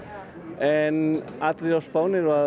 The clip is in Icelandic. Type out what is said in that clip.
en allir á Spáni eru